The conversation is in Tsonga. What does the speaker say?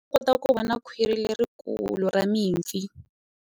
U nga kota ku vona khwiri lerikulu ra mipfi.